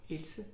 Else